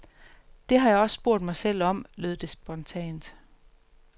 Det har jeg også spurgt mig selv om, lød det spontant.